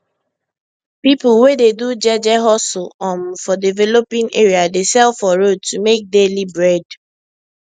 people wey dey do jeje hustle um for developing area dey sell for road to make daily bread